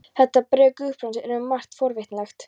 Þetta bréf Guðbrands er um margt forvitnilegt.